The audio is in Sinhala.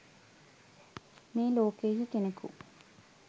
මේ ලෝකයෙහි කෙනෙකු